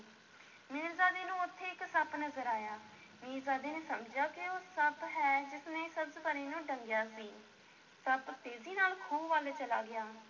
ਮੀਰਜ਼ਾਦੇ ਨੂੰ ਉੱਥੇ ਇੱਕ ਸੱਪ ਨਜ਼ਰ ਆਇਆ, ਮੀਰਜ਼ਾਦੇ ਨੇ ਸਮਝਿਆ ਕਿ ਉਹ ਸੱਪ ਹੈ ਜਿਸ ਨੇ ਸਬਜ਼-ਪਰੀ ਨੂੰ ਡੰਗਿਆ ਸੀ, ਸੱਪ ਤੇਜ਼ੀ ਨਾਲ ਖੂਹ ਵੱਲ ਚਲਾ ਗਿਆ।